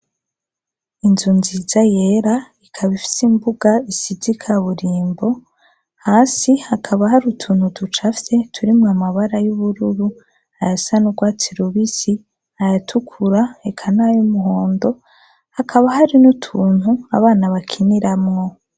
Inzu nziza yera ikaba ifite imbuga isize ikaburimbo, hasi hakaba hari utuntu ducafye turimwo amabara y'ubururu, ayasa n'ugwati rubisi, ayatukura, eka nay'umuhondo hakaba hari n'utuntu abana bakiniramo.